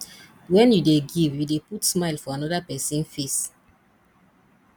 wen you dey give you dey put smile for amoda pesin face